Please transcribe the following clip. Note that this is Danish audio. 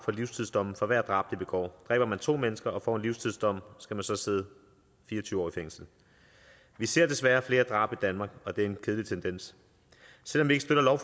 livstidsdom for hvert drab de begår dræber man to mennesker og får en livstidsdom skal man så sidde fire og tyve år i fængsel vi ser desværre flere drab i danmark og det er en kedelig tendens selv om vi ikke støtter